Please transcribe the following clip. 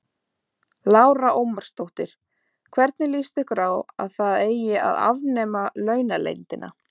Lára Ómarsdóttir: Hvernig lýst ykkur á að það eigi að afnema launaleyndina?